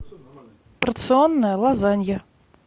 порционная лазанья